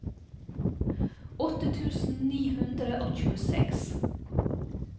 åtte tusen ni hundre og tjueseks